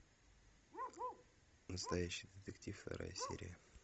настоящий детектив вторая серия